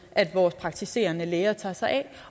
at vores praktiserende læger tager sig af